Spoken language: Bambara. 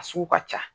A sugu ka ca